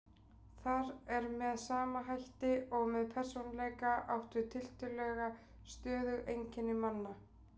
Þar er með sama hætti og með persónuleika átt við tiltölulega stöðug einkenni manna.